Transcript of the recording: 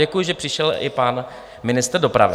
Děkuji, že přišel i pan ministr dopravy.